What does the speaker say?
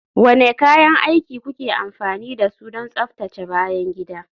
Wane kayan aiki kuke amfani da su don tsaftace bayan gida?